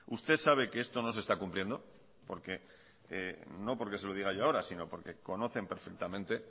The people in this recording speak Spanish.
usted sabe que esto no se está cumpliendo no porque se lo diga yo ahora sino porque conocen perfectamente